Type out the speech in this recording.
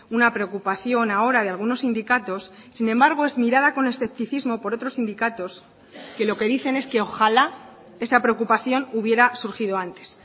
una preocupación ahora de algunos sindicatos sin embargo es mirada con escepticismo por otros sindicatos que lo que dicen es que ojalá esa preocupación hubiera surgido antes